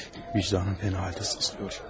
Vicdanım çox pis sızlayır.